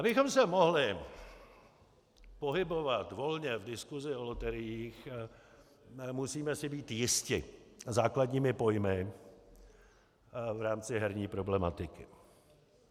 Abychom se mohli pohybovat volně v diskusi o loteriích, musíme si být jisti základními pojmy v rámci herní problematiky.